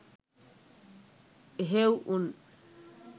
එහෙවු උන්